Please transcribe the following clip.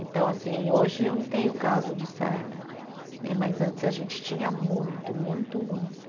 Então, assim, hoje eu não tenho caso de sarna né, mas antes a gente tinha muito, muito, muito.